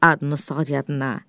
Adını sal yadına.